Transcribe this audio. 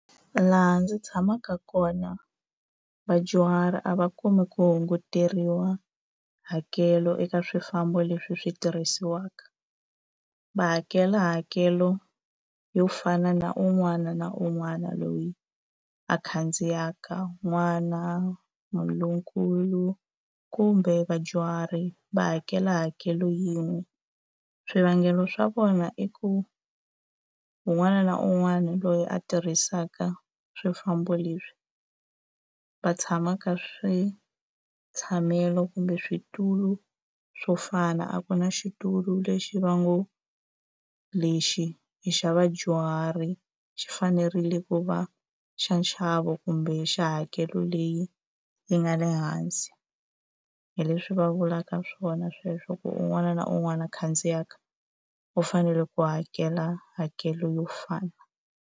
Laha ndzi tshamaka kona, vadyuhari a va kumi ku hunguteriwa hakelo eka swifambo leswi swi tirhisiwaka. Ha hakela hakelo yo fana na un'wana na un'wana loyi a khandziyaka. N'wana, munhu lonkulu, kumbe vadyuhari va hakela hakelo yin'we. Swivangelo swa vona i ku un'wana na un'wana loyi a tirhisaka swifambo leswi, va tshama ka switshamelo kumbe switulu swo fana, a ku na xitulu lexi va ngo lexi i xa vadyuhari xi fanerile ku va xa nxavo kumbe xa hakelo leyi yi nga le hansi. Hi leswi va vulaka swona sweswo, ku un'wana na un'wana a khandziyaka u fanele ku hakela hakelo yo fana.